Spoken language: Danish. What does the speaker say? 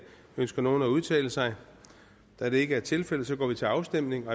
ønsker nogen at udtale sig da det ikke er tilfældet går vi til afstemning